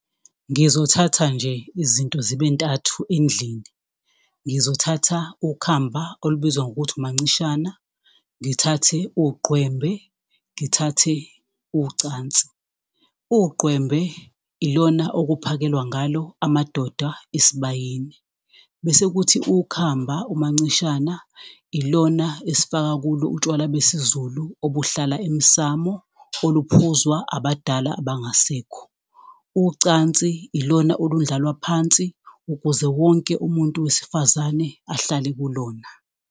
Ngizothatha nje izinto zibentathu endlini, ngizothatha ukhamba olubizwa ngokuthi umancishana, ngithathe uqwembe, ngithathe ucansi. Uqwembe ilona okuphakelwa ngalo amadoda esibayeni, bese kuthi ukhamba umancishana, ilona esifaka kulo utshwala besiZulu obuhlala emsamo, oluphuzwa abadala abangasekho. Ucansi ilona olundlalwa phansi, ukuze wonke umuntu wesifazane ahlale kulona.